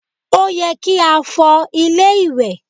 Ó yẹ kí á fọ ilé ìwẹ̀.